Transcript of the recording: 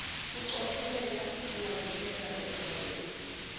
kucophelela kungavikela ozakwenu